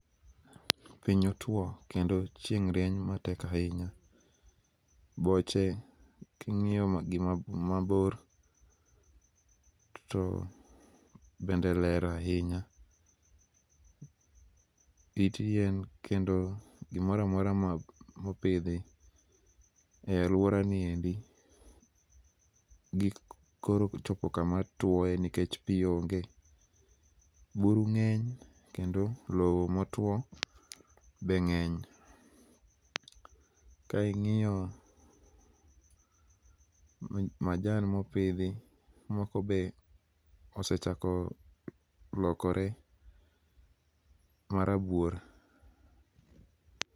Piny otwo, kendo chieng' rieny matek ahinya. Boche king'iyo gi mabor, to bende ler ahinya. It yien kendo gimoramora ma mopidhi e alwora niendi gik koro kochopo kama twoe nikech pii onge. Buru ng'eny kendo lowo motwo be ng'eny. Ka ing'iyo majan mopidhi moko be osechako lokore ma rabuor.